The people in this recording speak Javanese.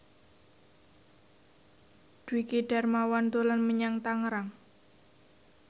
Dwiki Darmawan dolan menyang Tangerang